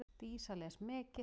Dísa les mikið.